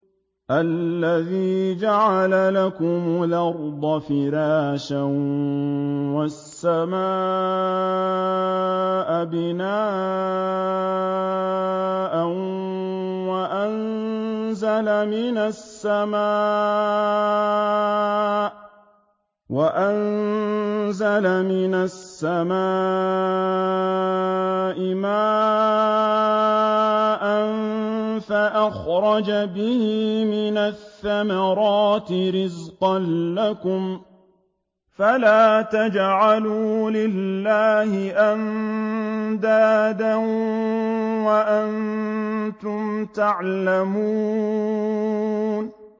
الَّذِي جَعَلَ لَكُمُ الْأَرْضَ فِرَاشًا وَالسَّمَاءَ بِنَاءً وَأَنزَلَ مِنَ السَّمَاءِ مَاءً فَأَخْرَجَ بِهِ مِنَ الثَّمَرَاتِ رِزْقًا لَّكُمْ ۖ فَلَا تَجْعَلُوا لِلَّهِ أَندَادًا وَأَنتُمْ تَعْلَمُونَ